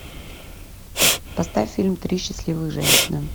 поставь фильм три счастливых женщины